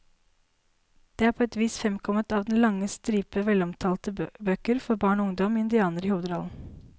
Det er på et vis fremkommet av den lange stripe velomtalte bøker for barn og ungdom med indianere i hovedrollen.